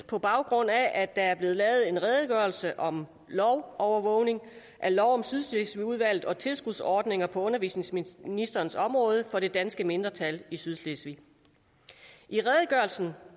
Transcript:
på baggrund af at der er blevet lavet en redegørelse om lovovervågning af lov om sydslesvigudvalget og tilskudsordninger på undervisningsministerens område for det danske mindretal i sydslesvig i redegørelsen